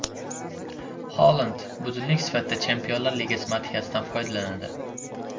Holand budilnik sifatida Chempionlar Ligasi madhiyasidan foydalanadi.